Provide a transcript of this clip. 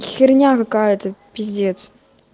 херня какая-то пиздец